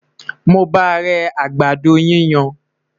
mo bá rè àgbàdo yíyan